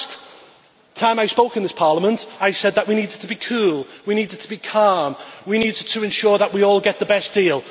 The last time I spoke in this Parliament, I said that we need to be cool, we need to be calm, we need to ensure that we all get the best deal.